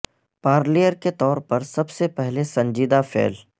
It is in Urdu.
پارلیئر کے طور پر سب سے پہلے سنجیدہ فعل